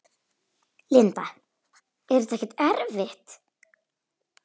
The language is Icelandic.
Linda: Er þetta ekkert erfitt?